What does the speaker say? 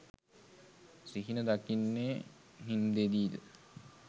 සිහින දකින්නේ නින්දේදීද?